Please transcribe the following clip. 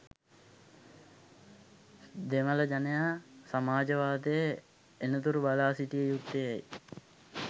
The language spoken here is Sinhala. දෙමළ ජනයා සමාජවාදය එනතුරු බලා සිටිය යුත්තේ ඇයි?